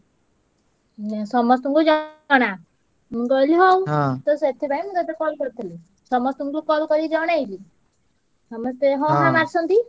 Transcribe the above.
ଉଁ ସମସ୍ତଙ୍କୁ ଜ~ ଣା~। ମୁଁ କହିଲି ହଉ ତ ସେଥିପାଇଁ ମୁଁ ତତେ call କରିଥିଲି। ସମସ୍ତଙ୍କୁ call କରି ଜଣେଇଲି। ସମସ୍ତେ ହଁ ହାଁ ମାରିଛନ୍ତି।